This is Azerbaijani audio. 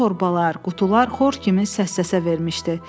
Bütün torbalar, qutular xor kimi səssəsə vermişdi.